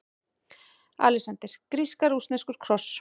ALEXANDER: Grísk-rússneskur kross!